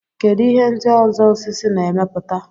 kedụ ihe ndị ọzọ osisi na-emepụta